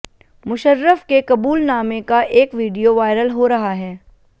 मुशर्रफ के कबूलनामे का एक वीडियो वायरल हो रहा है